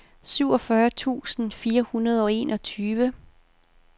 syvogfyrre tusind fire hundrede og enogtyve